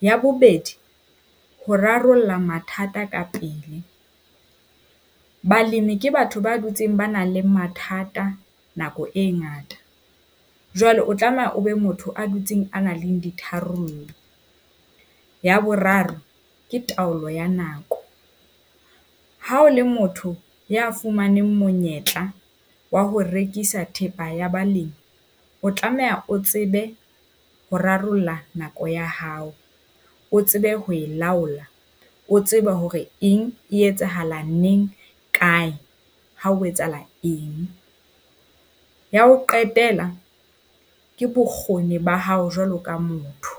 Ya bobedi, ho rarolla mathata ka pele. Balemi ke batho ba dutseng ba nang le mathata nako e ngata, jwale o tlameha o be motho a dutseng a nang le ditharollo. Ya boraro, ke taolo ya nako. Ha o le motho ya fumaneng monyetla wa ho rekisa thepa ya balemi, o tlameha o tsebe ho rarolla nako ya hao. O tsebe ho e laola, o tseba hore eng e etsahala neng, kae, ha o etsahala eng. Ya ho qetela, ke bokgoni ba hao jwalo ka motho.